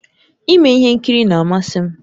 Ime ihe nkiri na-amasị m